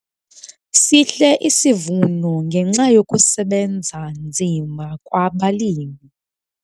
Sihle isivuno ngenxa yokusebenza nzima kwabalimi.